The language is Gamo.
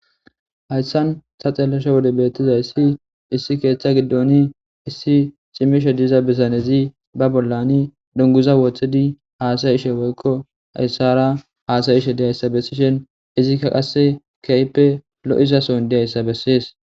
Haysan tseelishe wode be'etiza izzi, issi keetta giddoni issi cimishe diza bitanizi ba bollanne dunguza wotsidi asashe woyko haysara asashe de'isa beshin, izi qassi keehi lo'iza sooni de'isa besees.